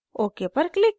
ok पर click करें